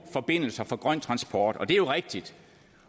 forbindelser for grøn transport det er rigtigt